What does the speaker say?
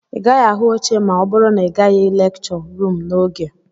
Ị gaghị ahụ oche ma ọ bụrụ na ị gaghị lekchọ ruum n'oge